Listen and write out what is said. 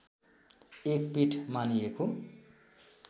एक पीठ मानिएको